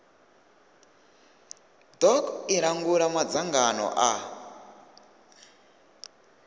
doc i langula madzangano a